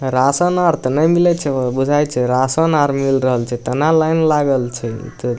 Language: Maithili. राशन आर ते ने मिलय छै हो बुझाय छै राशन आर मिल रहल छै तना लाइन लगल छै ।